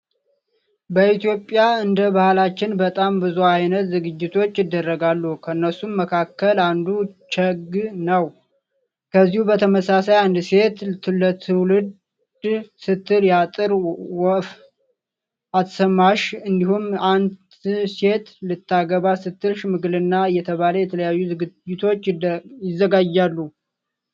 በኢትዮጵያ እንደ ባህላችን በጣም ብዙ አይነት ዝግጅቶች ይደረጋሉ። ከነሱም መካከል አንዱ ቸግ ነው። ከዚሁ በተመሳሳይ አንድ ሴት ልትወልድ ስትል የአጥር ወፍ አትስማሽ እንዲሁም አን ሴት ልታገባ ስትል ሽምግልና እየተባለ የተለያዩ ዝግጅቶች ይዘጋጃሉ።